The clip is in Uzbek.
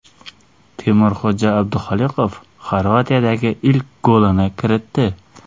Temurxo‘ja Abduxoliqov Xorvatiyadagi ilk golini kiritdi.